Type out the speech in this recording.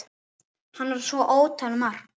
Hann var svo ótal margt.